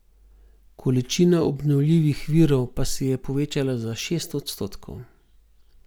Količina obnovljivih virov pa se je povečala za šest odstotkov.